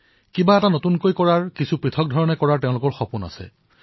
তেওঁলোকে সদায়েই নতুন কিবা এটা কৰাৰ সপোন দেখে